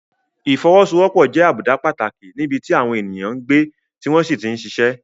Ìfọwọ́sowọ́pọ̀ jẹ́ àbùdá pàtàkì níbi tí àwọn ènìyàn ń gbé tí wọ́n sì ti ń ṣiṣẹ́.